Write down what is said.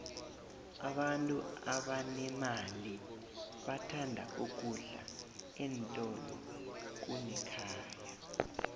abantu abanemali bathanda ukudla eentolo kunekhaya